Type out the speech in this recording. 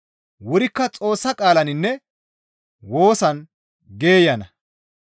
Wurikka Xoossa qaalaninne woosan geeyana.